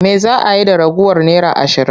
Me za a yi da ragowar naira ashirin?